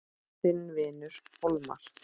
Þinn vinur Hólmar.